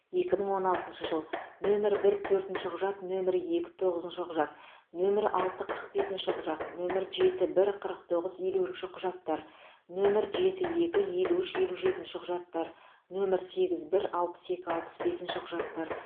екі мың он алтыншы жыл нөмірі бір төртінші құжат нөмірі екі тоғызыншы құжат нөмірі алты қырық бесінші құжат нөмірі жеті бір қырық тоғыз елуінші құжаттар нөмір жеті екі елу үш елу жетінші құжаттар нөмір сегіз бір алпыс екі алпыс бесінші құжаттар